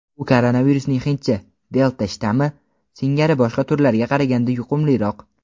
u koronavirusning "hindcha" — "delta" shtammi singari boshqa turlarga qaraganda yuqumliroq.